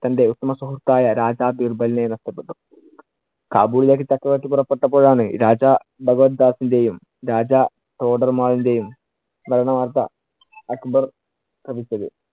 തന്‍റെ ഉത്തമ സുഹൃത്തായ രാജ ബീർബലിനെ നഷ്ടപ്പെട്ടു. കാബുളിലേക്ക് ചക്രവർത്തി പുറപെട്ടപ്പോഴാണ് രാജ ഭഗവദ്ദാസിന്‍റെയും രാജ ന്‍റെയും മരണ വാർത്ത അക്ബർ ശ്രവിച്ചത്.